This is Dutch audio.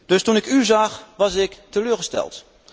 Dus toen ik u zag was ik teleurgesteld.